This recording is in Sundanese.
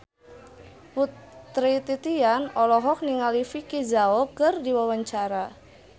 Putri Titian olohok ningali Vicki Zao keur diwawancara